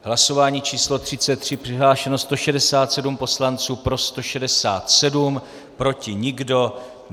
Hlasování číslo 33, přihlášeno 167 poslanců, pro 167, proti nikdo.